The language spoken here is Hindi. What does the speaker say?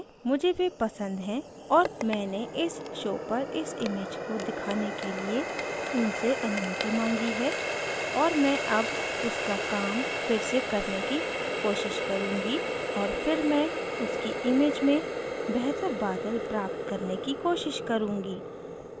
मुझे वे पसंद हैं और मैंने इस show पर इस image को दिखाने के लिए उनसे अनुमति माँगी है और मैं अब उसका काम फिर से करने की कोशिश करुँगी और फिर मैं उसकी image में बेहतर बादल प्राप्त करने की कोशिश करुँगी